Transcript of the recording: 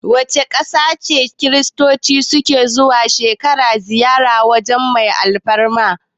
Wace ƙasa ce Kiristoci su ke zuwa duk shekara ziyarar waje mai alfarma?